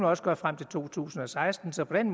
også gøre frem til to tusind og seksten så på den